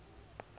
gov dra form coid